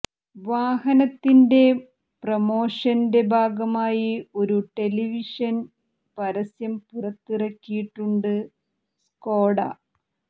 വാഹനത്തിന്റെ പ്രോമഷന്റെ ഭാഗമായി ഒരു ടെലിവിഷന് പരസ്യം പുറത്തിറക്കിയിട്ടുണ്ട് സ്കോഡ